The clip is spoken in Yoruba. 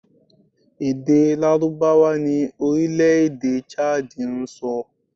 Èdè Lárúbáwá ni orílẹ̀ èdè Chad ń sọ